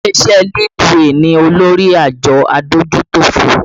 Ilé iṣẹ́ Leadway ni olórí àjọ adójútòfò